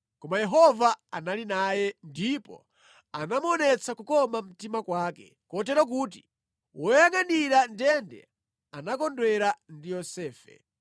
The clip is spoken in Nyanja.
koma Yehova anali naye, ndipo anamuonetsa kukoma mtima kwake, kotero kuti woyangʼanira ndende anakondwera ndi Yosefe.